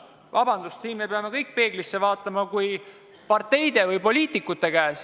Vabandust, aga siin me peame kõik peeglisse vaatama.